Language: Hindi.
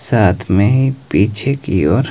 साथ में पीछे की ओर--